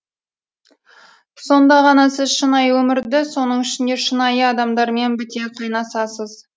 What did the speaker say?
сонда ғана сіз шынайы өмірді соның ішінде шынайы адамдармен біте қайнасасыз